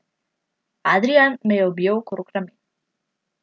Adrijan me je objel okrog ramen.